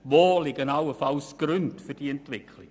Wo liegen allenfalls Gründe für diese Entwicklung?